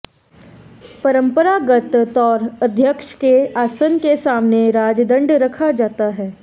परंपरागत तौर अध्यक्ष के अासन के सामने राजदंड रखा जाता है